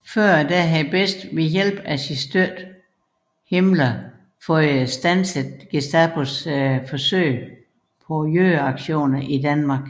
Tidligere havde Best ved hjælp af sin støtte Himmler fået standset Gestapos forsøg på jødeaktioner i Danmark